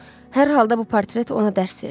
Hər halda bu portret ona dərs verdi.